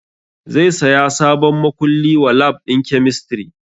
Zai saya sabon makulli wa lab ɗin kemistri